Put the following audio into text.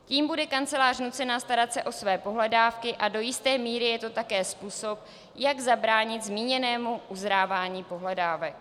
Tím bude kancelář nucena starat se o své pohledávky a do jisté míry je to také způsob, jak zabránit zmíněnému uzrávání pohledávek.